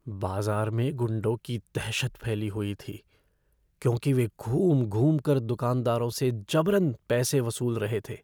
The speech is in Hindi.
बाज़ार में गुंडों की दहशत फैली हुई थी, क्योंकि वे घूम घूमकर दुकानदारों से ज़बरन पैसे वसूल रहे थे।